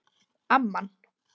Amman